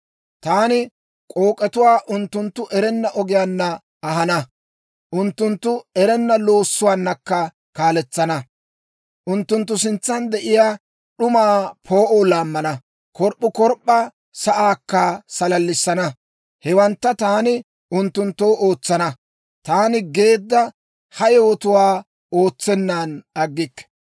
«Taani k'ook'etuwaa unttunttu erenna ogiyaanna ahana; unttunttu erenna loossuwaanakka kaaletsana. Unttunttu sintsan de'iyaa d'umaa poo'oo laammana; korp'p'ukorp'p'a sa'aakka salallissana. Hewantta taani unttunttoo ootsana; taani geedda ha yewotuwaa ootsenan aggikke.